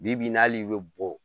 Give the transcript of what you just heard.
Bi bi in'al'i be bɔ